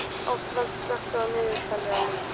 Ástvald, slökktu á niðurteljaranum.